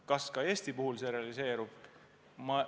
Kas ka Eesti puhul see realiseerub?